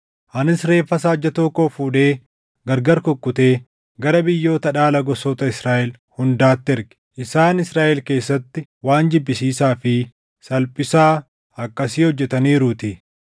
Anis reeffa saajjatoo koo fuudhee gargari kukkutee gara biyyoota dhaala gosoota Israaʼel hundaatti erge; isaan Israaʼel keessatti waan jibbisiisaa fi salphisaa akkasii hojjetaniiruutii.